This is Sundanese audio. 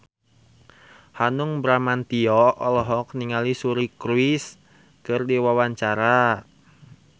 Hanung Bramantyo olohok ningali Suri Cruise keur diwawancara